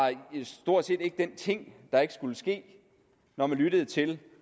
stort set ikke den ting der ikke skulle ske når vi lyttede til